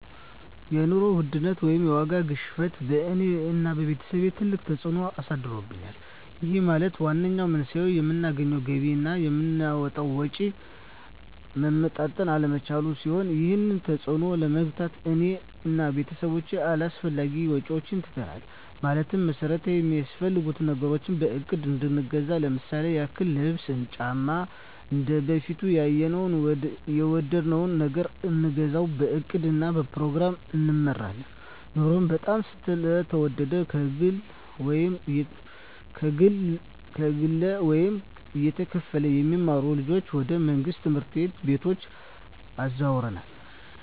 የኑሮ ውድነት ወይም የዋጋ ግሽበት በእኔ እና በቤተሰቦቸ ትልቅ ተፅእኖ አሳድሮብናል ይህም ማለት ዋነኛው መንስኤው የምናገኘው ገቢ እና የምናወጣው ወጪ መመጣጠን አለመቻሉን ሲሆን ይህንን ተፅዕኖ ለመግታት እኔ እና ቤተሰቦቸ አላስፈላጊ ወጪዎችን ትተናል ማለትም መሠረታዊ ሚያስፈልጉንን ነገሮች በእቅድ እንገዛለን ለምሳሌ ያክል ልብስ እና ጫማ እንደበፊቱ ያየነውን እና የወደድነውን ነገር አንገዛም በእቅድ እና በፕሮግራም እንመራለን ኑሮው በጣም ስለተወደደ ከግለ ወይም እየተከፈለ የሚማሩ ልጆችን ወደ መንግሥት ትምህርት ቤቶች አዘዋውረናል